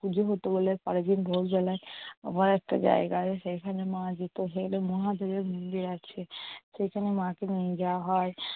পুজো হত বলে পরের দিন ভোরবেলায় আবার একটা জায়গায় সেখানে মা যেত। সেখানে মহাদেবের মন্দির আছে। সেখানে মাকে নিয়ে যাওয়া হয়।